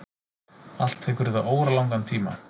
Allt tekur þetta óralangan tíma.